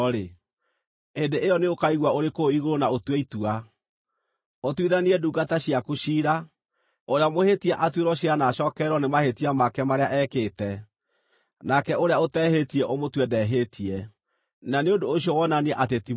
hĩndĩ ĩyo nĩ ũkaigua ũrĩ kũu igũrũ na ũtue itua. Ũtuithanie ndungata ciaku ciira, ũrĩa mũhĩtia atuĩrwo ciira na acookererwo nĩ mahĩtia make marĩa ekĩte. Nake ũrĩa ũtehĩtie ũmũtue ndehĩtie, na nĩ ũndũ ũcio wonanie atĩ ti mwĩhia.